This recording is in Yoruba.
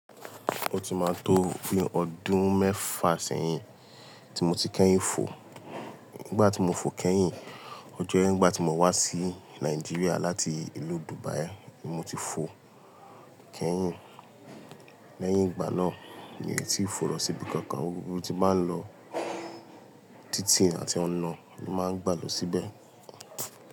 Ó ti máa tó bi ọdún mẹ́fà sẹ́yìn tí mo ti kẹ́yìn fò. Nígbà tí mo fò kẹ́yìn, ọje nígbà tí mo wá sí Nàìjíríà láti ìlú Dubai ni mo ti fò kẹ́yìn. Lẹ́yìn ìgbà náà, mi ò tí ì fò lọ síbi kankan, gbogbo ibi tí máa ń lọ títì àti ọ̀nà ni máa ń gbà lo síbẹ̀.